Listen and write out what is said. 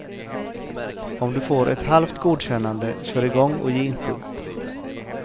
Om du får ett halvt godkännande, kör i gång och ge inte upp.